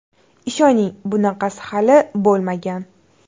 Ishoning bunaqasi hali bo‘lmagan!